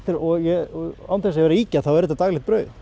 og án þess að vera að ýkja þá er þetta daglegt brauð